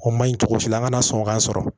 O ma ɲi cogo si la an kana sɔn k'a sɔrɔ